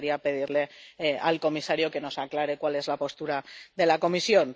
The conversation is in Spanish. Y me gustaría pedirle al comisario que nos aclare cuál es la postura de la Comisión.